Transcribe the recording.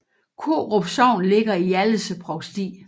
Korup Sogn ligger i Hjallese Provsti